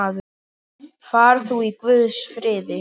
Far þú í Guðs friði.